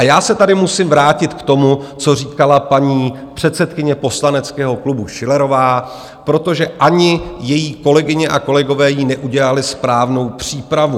A já se tady musím vrátit k tomu, co říkala paní předsedkyně poslaneckého klubu Schillerová, protože ani její kolegyně a kolegové jí neudělali správnou přípravu.